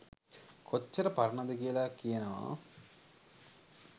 කොච්චර පරණද කියල කියනවා.